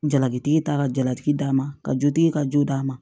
Jalakitigi ta ka jalatigi d'a ma ka jotigi ka jo'a ma